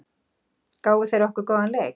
Gáfu þeir okkur góðan leik?